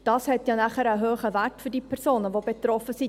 Das hat ja dann einen hohen Wert für die Personen, die betroffen sind.